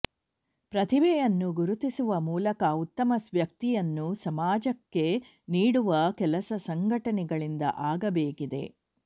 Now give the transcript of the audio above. ಪ್ರತಿಭೆಯನ್ನು ಗುರುತಿಸುವ ಮೂಲಕ ಉತ್ತಮ ವ್ಯಕ್ತಿಯನ್ನು ಸಮಾಜಕ್ಕೆ ನೀಡುವ ಕೆಲಸ ಸಂಘಟನೆಗಳಿಂದ ಆಗಬೇಕಿದೆ